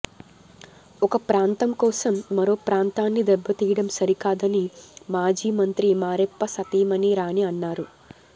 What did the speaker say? ఒక ప్రాంతం కోసం మరో ప్రాంతాన్ని దెబ్బతీయడం సరికాదని మాజీ మంత్రి మారెప్ప సతీమణి రాణి అన్నారు